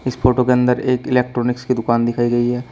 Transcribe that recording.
इस फोटो के अंदर एक इलेक्ट्रॉनिक्स की दुकान दिखाई गई है।